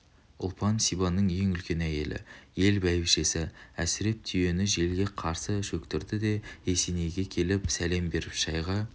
ұлпан сибанның ең үлкен әйелі ел бәйбішесі әсіреп түйені желге қарсы шөктірді де есенейге келіп сәлем беріп шайға